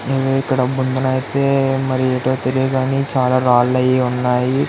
ఈ ఇక్కడ ముందన అయితే ఏంటో తెలియదు కానీ చాల రాళ్ళూ అవి ఉన్నాయి.